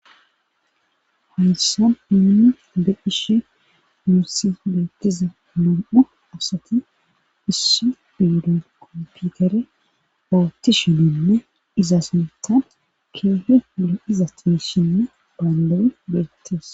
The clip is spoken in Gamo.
haysan nuni be'ishe nussi beettiza nam7u asati issi biidon koomputere bawuti shininle iza suntan keehe mule iza ti shinne baandawe beettees